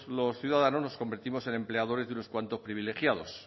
los ciudadanos nos convertimos en empleadores de unos cuantos privilegiados